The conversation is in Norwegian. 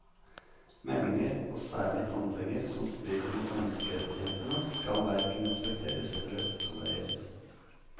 Meninger og særlig handlinger som strider mot menneskerettighetene, skal hverken respekteres eller tolereres.